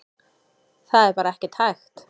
Það er bara ekkert hægt.